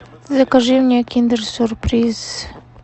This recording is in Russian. закажи мне киндер сюрприз